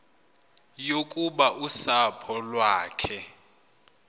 yokuba usapho lwakhe